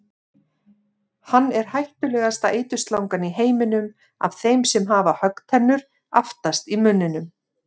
Hann er hættulegasta eiturslangan í heiminum af þeim sem hafa höggtennur aftast í munninum.